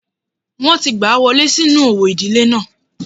Wọ́n ti gbà á wọlé sínú òwò ìdílé náà